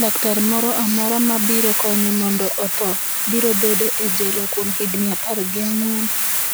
laktar moro amora ma biro konye mondo otho, biro bede e jela kuom higni apar gi ang'wen